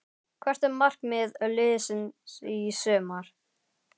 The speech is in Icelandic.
Hvert er markmið liðsins í sumar?